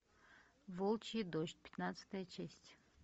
волчий дождь пятнадцатая часть